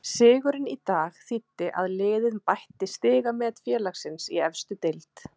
Sigurinn í dag þýddi að liðið bætti stigamet félagsins í efstu deild.